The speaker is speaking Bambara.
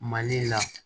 Mali la